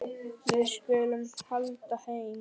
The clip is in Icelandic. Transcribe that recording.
Við skulum halda heim.